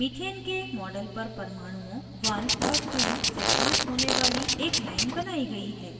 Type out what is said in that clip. methane के model पर परमाणुओं 1 और 2 से पास होने वाली एक लाइन बनाई गयी है